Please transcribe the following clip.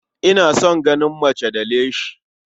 Ina son ganin mace da leshi.